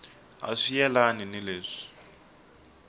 a swi yelani ni leswi